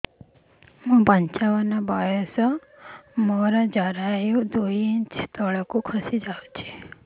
ମୁଁ ପଞ୍ଚାବନ ବର୍ଷ ବୟସ ମୋର ଜରାୟୁ ଦୁଇ ଇଞ୍ଚ ତଳକୁ ଖସି ଆସିଛି